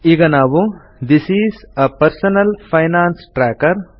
ಈಗ ನಾವು this is A personal finance tracker